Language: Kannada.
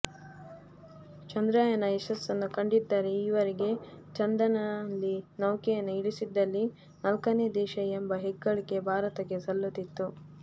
ಚಂದ್ರಯಾನ ಯಶಸ್ಸನ್ನು ಕಂಡಿದ್ದರೆ ಈವರೆಗೆ ಚಂದನಲ್ಲಿ ನೌಕೆಯನ್ನು ಇಳಿಸಿದಲ್ಲಿ ನಾಲ್ಕನೇ ದೇಶ ಎಂಬ ಹೆಗ್ಗಳಿಕೆ ಭಾರತಕ್ಕೆ ಸಲ್ಲುತ್ತಿತ್ತು